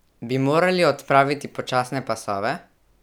Bi morali odpraviti počasne pasove?